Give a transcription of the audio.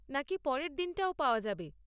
নাকি পরের দিনটাও পাওয়া যাবে?